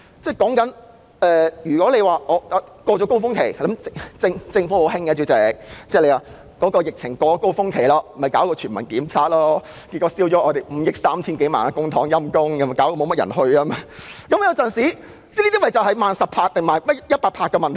政府老是在高峰期過後才採取行動，例如在疫情高峰期過後推出全民檢測，結果花費了5億 3,000 多萬元公帑，卻又沒有太多市民支持，這便是"慢十拍"或"慢一百拍"的問題。